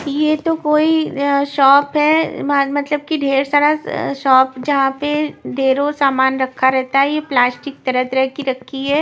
यह तो कोई अ शॉप है मतलब कि ढेर सारा शॉप जहां पे ढेरों सामान रखा रहता है यह प्लास्टिक तरह की रखी है।